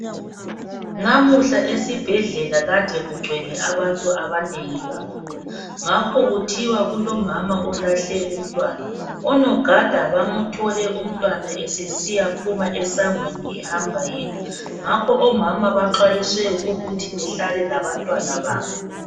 Namuhla esibhedlela kade kugcwele abantu abanengi kakhulu ngakho kuthiwa kulomama olahle umntwana. Onogada bamthole umntwana esesiyaphuma esangweni ehamba yedwa. Ngakho omama baxwayiswe ukuthi behlale labantwana babo.